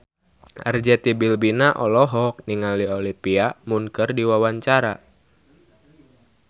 Arzetti Bilbina olohok ningali Olivia Munn keur diwawancara